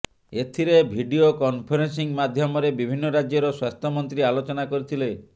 ଏଥିରେ video conferencing ମାଧ୍ୟମରେ ବିଭିନ୍ନ ରାଜ୍ୟର ସ୍ୱାସ୍ଥ୍ୟମନ୍ତ୍ରୀ ଆଲୋଚନା କରିଥିଲେ